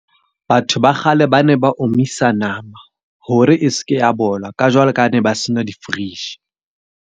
Batho ba kgale ba ne ba omisa nama, hore e seke ya bola ka jwalo ka ha ne ba se na di-fridge.